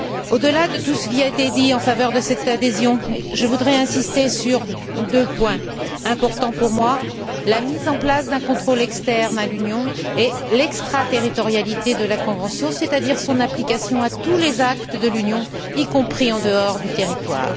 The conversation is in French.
Au delà de tout ce qui a été dit en faveur de cette adhésion, je voudrais insister sur deux points importants pour moi la mise en place d'un contrôle externe à l'Union et l'extraterritorialité de la convention, c'est à dire son application à tous les actes de l'Union, y compris en dehors du territoire.